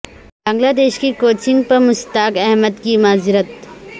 بنگلہ دیش کی کوچنگ پر مشتاق احمد کی معذرت